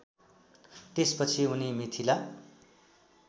त्यसपछि उनी मिथिला